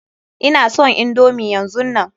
Ina son indomi yanzunnan.